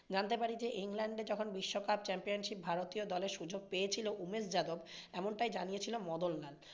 জানতে পারি ইংল্যান্ডে যখন বিশ্বকাপ championship ভারতীয় দলে সুযোগ পেয়েছিলো উমেশ যাদব এমনটাই জানিয়েছিল মদনলাল।